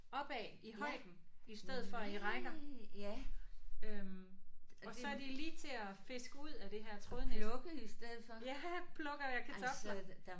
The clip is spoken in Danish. Opad i højden i stedet for i rækker øh og så er de lige til at fiske ud af det her trådnet ja plukker jeg kartofler